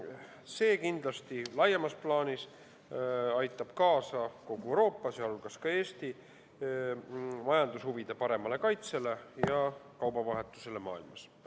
See aitab kindlasti laiemas plaanis kaasa kogu Euroopa, sh Eesti majandushuvide paremale kaitsele ja kaubavahetusele maailmas.